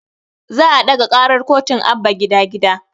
Za a ɗaga karar kotun abba gida gida